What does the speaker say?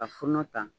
Ka funa ta